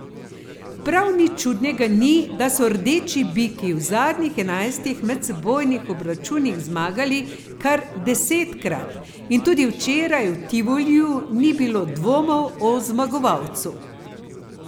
Prav nič čudnega ni, da so rdeči biki v zadnjih enajstih medsebojnih obračunih zmagali kar desetkrat in tudi včeraj v Tivoliju ni bilo dvomov o zmagovalcu.